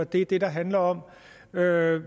det er det der handler om hvad